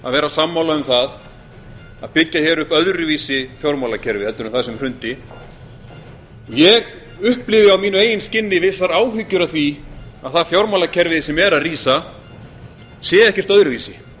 að vera sammála um það að byggja upp öðruvísi fjármálakerfi heldur en það sem hrundi ég upplifi á mínu eigin skinni vissar áhyggjur af því að það fjármálakerfi sem er að rísa sé ekkert öðruvísi þannig